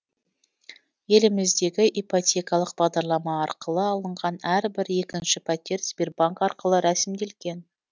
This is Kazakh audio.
еліміздегі ипотекалық бағдарлама арқылы алынған әрбір екінші пәтер сбербанк арқылы рәсімделген